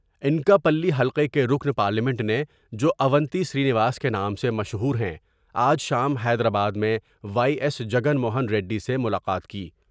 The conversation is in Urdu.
انکا پلی حلقہ کے رکن پارلیمنٹ نے جواونتی سرینواس کے نام سے مشہور ہیں آج شام حیدرآباد میں وائی ایس جگن موہن ریڈی سے ملاقات کی ۔